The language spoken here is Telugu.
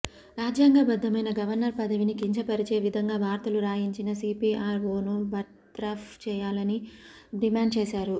రాజ్యాంగబద్ధమైన గవర్నర్ పదవిని కించపరిచే విధంగా వార్తలు రాయించిన సీపీఆర్ఓను బర్తరఫ్ చేయాలని డిమాండ్ చేశారు